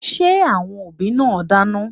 Are the parents cooking?